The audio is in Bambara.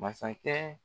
Masakɛ